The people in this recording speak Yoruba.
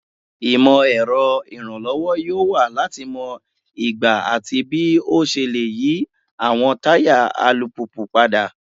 Imọ-ẹrọ iranlọwọ yoo wa lati mọ igba ati bii o ṣe le yi awọn taya alupupu pada